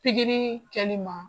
Pigiri kɛli ma.